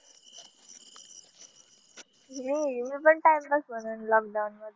मी मी पण time pass म्हणून lockdown मधी.